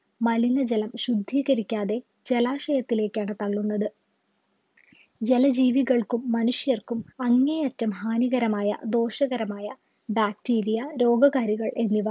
മലിനജലം ശുദ്ധികരിക്കാതെ ജലാശയത്തിലേക്കാണ് തള്ളുന്നത് ജല ജീവികൾക്കും മനുഷ്യർക്കും അങ്ങേയറ്റം ഹാനികരമായ ദോഷകരമായ Bacteria രോഗകാരികൾ എന്നിവ